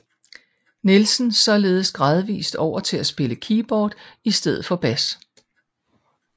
Nielsen således gradvist over til at spille keyboard i stedet for bas